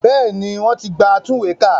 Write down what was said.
Bẹ́ẹ̀ni wọ́n ti gba atúnwèékà